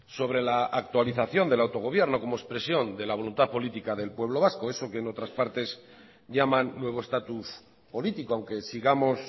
sobre la actualización del autogobierno como expresión de la voluntad política del pueblo vasco eso que en otras partes llaman nuevo estatus político aunque sigamos